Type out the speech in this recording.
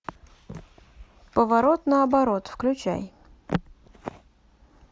поворот наоборот включай